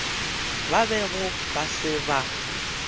ba bego ba se ba